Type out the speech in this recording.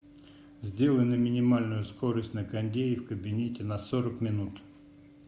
сделай на минимальную скорость на кондее в кабинете на сорок минут